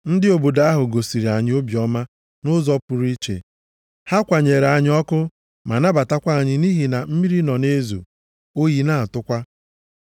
Ndị obodo ahụ gosiri anyị obiọma nʼụzọ pụrụ iche. Ha kwanyere anyị ọkụ ma nabatakwa anyị nʼihi na mmiri nọ na-ezo, oyi na-atụkwa.